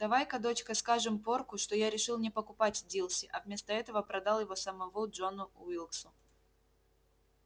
давай-ка дочка скажем порку что я решил не покупать дилси а вместо этого продал его самого джону уилксу